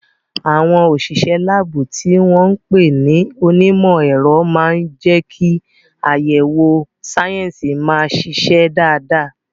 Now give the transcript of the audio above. Àwọn òṣìṣẹ́ láàbù, tí wọ́n ń pè ní onímọ̀ ẹ̀rọ, máa ń jẹ́ kí àyẹ̀wò sáyẹ́sì máa ṣiṣẹ́ dáadáa.